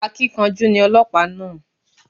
Akíkanjú ni ọlọ́pàá náà